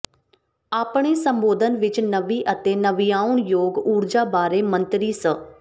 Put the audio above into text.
ਆਪਣੇ ਸੰਬੋਧਨ ਵਿੱਚ ਨਵੀਂ ਅਤੇ ਨਵਿਆਉਣਯੋਗ ਊਰਜਾ ਬਾਰੇ ਮੰਤਰੀ ਸ